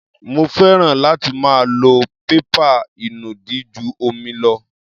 Mo fẹ́ràn láti máa lo pépà ìnùdí ju omi lọ.